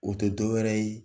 O tɛ dɔ wɛrɛ ye